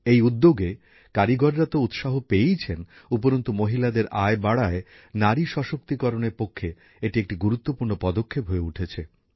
এই উদ্যোগে কারিগররা উৎসাহ পেয়েছেন উপরন্তু মহিলাদের আয় বাড়ায় নারী ক্ষমতায়নের পক্ষে এটি একটি গুরুত্বপূর্ণ পদক্ষেপ হয়ে উঠেছে